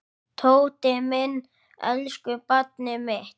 Tóti minn, elsku barnið mitt.